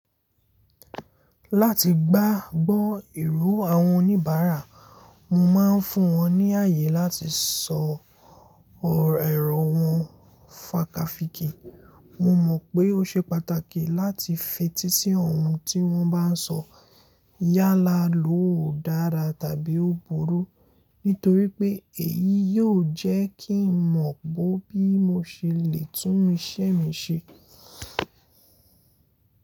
Láti gbágbọ́ ìró àwọn oníbàárà, mo máa ń fún wọn ní ààyè láti sọ ẹ̀rẹ̀ wọn fàkafìkì. Mo mọ̀ pé ó ṣe pàtàkì láti fetí sí ohun tí wọ́n bá n sọ yálà lóò dára tàbí ó burú nítorí pé èyí yóò jẹ́ kí n mọ̀ bó bí mo ṣe lè tún iṣẹ́ mi ṣe.